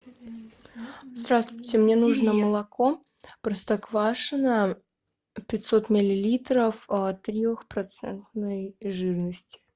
здравствуйте мне нужно молоко простоквашино пятьсот миллилитров трехпроцентной жирности